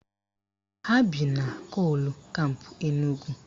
Ha bi na kol kampụ Enugwu